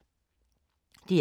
DR K